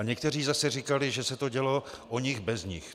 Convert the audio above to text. A někteří zase říkali, že se to dělo o nich bez nich.